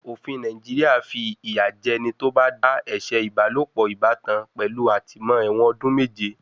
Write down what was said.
Òfin Nàìjíríà fi ìyà jẹ ẹni tó bá dá ẹ̀ṣẹ̀ ìbálòpọ̀ ìbátan pẹ̀lú àtìmó-ẹ̀wọ̀n ọdún méje.